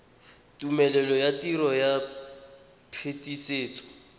tumelelo ya tiro ya phetisetso